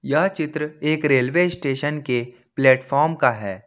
यह चित्र एक रेलवे स्टेशन के प्लेटफार्म का है।